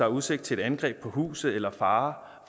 udsigt til et angreb på huset eller fare